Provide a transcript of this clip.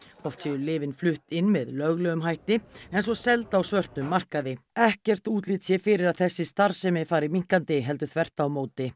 oft séu lyfin flutt inn með löglegum hætti en svo seld á svörtum markaði ekkert útlit sé fyrir að þessi starfsemi fari minnkandi heldur þvert á móti